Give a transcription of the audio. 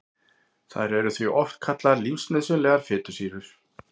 Þær eru því oft kallaðar lífsnauðsynlegar fitusýrur.